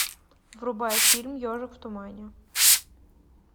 врубай фильм ежик в тумане